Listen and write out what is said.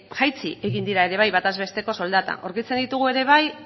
jaitsi egin dira ere bai bataz besteko soldatak aurkitzen ditugu ere bai